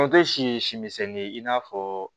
si ye si misɛnnin ye i n'a fɔ